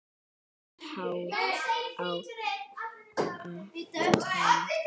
Sítt hár að aftan.